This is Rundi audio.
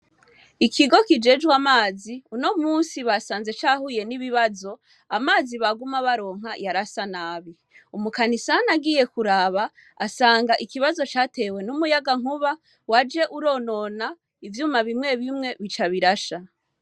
Ikigo kijejwe amazi uno munsi basanze cahuye n'ibibazo amazi baguma baronka yarasa nabi, umukanisani agiye kuraba asanga ikibazo catewe n'umuyagankuba waje uronona ivyuma bimwe bimwe bica birasha.